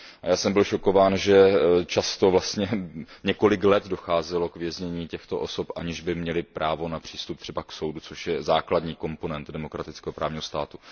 A já jsem byl šokován, že často vlastně několik let docházelo k věznění těchto osob, aniž by měly právo na přístup třeba k soudu, což je základní komponent demokratického právního státu.